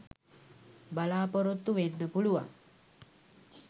බලාපොරොත්තු වෙන්න පුලුවන්.